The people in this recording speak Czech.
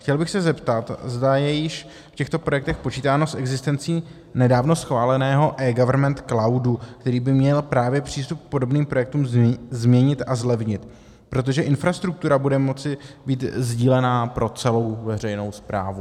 Chtěl bych se zeptat, zda je již v těchto projektech počítáno s existencí nedávno schváleného eGovernment cloudu, který by měl právě přístup k podobným projektům změnit a zlevnit, protože infrastruktura bude moci být sdílená pro celou veřejnou správu.